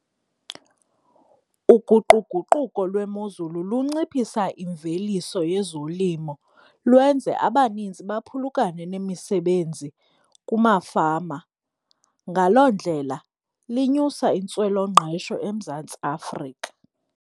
Uguquguquko lwemozulu lunciphisa imveliso yezolimo, lwenze abaninzi baphulukane nemisebenzi kumafama. Ngaloo ndlela linyusa intswelongqesho eMzantsi Afrika.